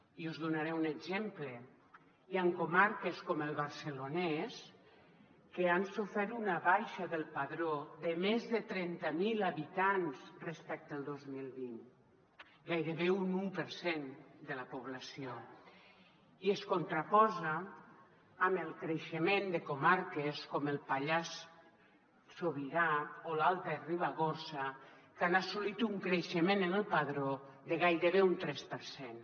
i us en donaré un exemple hi han comarques com el barcelonès que han sofert una baixa del padró de més de trenta mil habitants respecte al dos mil vint gairebé un u per cent de la població i es contraposa amb el creixement de comarques com el pallars sobirà o l’alta ribagorça que han assolit un creixement en el padró de gairebé un tres per cent